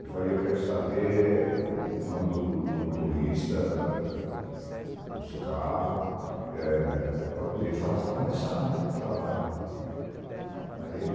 Eu falei, eu quero saber o nome do do do motorista, os carros, eh para poder fazer começar né o trabalho, aí.